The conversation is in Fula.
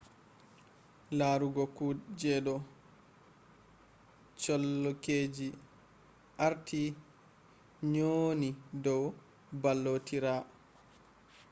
laruugo kudejidoo colonkeji artii nyonii dow ballotiraa